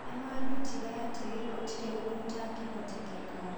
Nĩ maandutire atĩ gũtirĩ ũndũ ũtangĩhoteka.